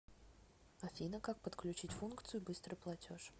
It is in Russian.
афина как подключить функцию быстрый платеж